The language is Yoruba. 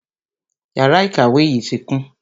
Yàrá ìkàwé tí kún